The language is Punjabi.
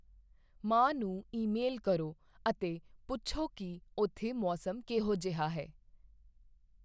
ਮਾਂ ਨੂੰ ਈਮੇਲ ਕਰੋ ਅਤੇ ਪੁੱਛੋ ਕੀ ਉੱਥੇ ਮੌਸਮ ਕਿਹੋ ਜਿਹਾ ਹੈ?